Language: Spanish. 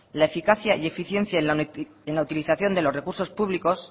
la eficacia y eficiencia en la utilización de los recursos públicos